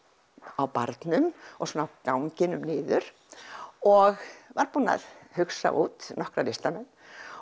á barnum og ganginum niður og var búinn að hugsa út nokkra listamenn